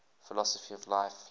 philosophy of life